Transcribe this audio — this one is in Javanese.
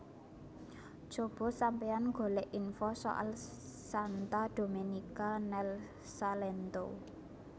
Cobo sampeyan golek info soal Santa Domenica nel Salento